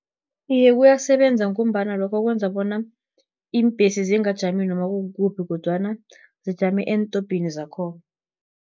Iye, kuyasebenza, ngombana lokho kwenza bona iimbhesi, zingajami noma kukuphi, kodwana zijame eentobhini zakhona.